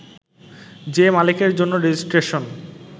যে মালিকের জন্য রেজিস্ট্রেশন